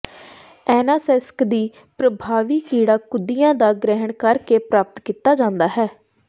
ਐਨਾਸੈਸਕ ਦੀ ਪ੍ਰਭਾਵੀ ਕੀੜਾ ਕੁਦਿਆ ਦਾ ਗ੍ਰਹਿਣ ਕਰਕੇ ਪ੍ਰਾਪਤ ਕੀਤਾ ਜਾਂਦਾ ਹੈ